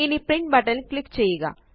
ഇനി print button ല് click ചെയ്യുക